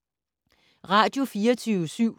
Radio24syv